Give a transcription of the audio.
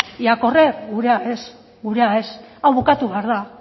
y a correr gurea ez